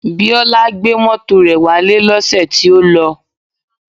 Biola gbé mọ́tò rẹ̀ wálé lọ́sẹ̀ tí ó lọ